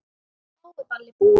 Þá er ballið búið.